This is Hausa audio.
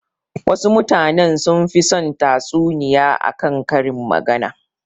Wasu mutanen sunfi son tatsuniya a kan karin magana.